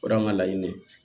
O de y'an ka laɲini de ye